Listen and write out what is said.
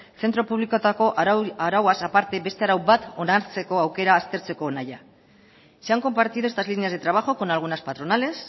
zentro publikoetako arauaz aparte beste arau bat onartzeko aukera aztertzeko nahia se han compartido estas líneas de trabajo con algunas patronales